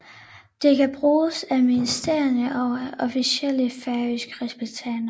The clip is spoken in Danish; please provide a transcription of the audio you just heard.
Det kan bruges af ministrene og af officielle færøske repræsentanter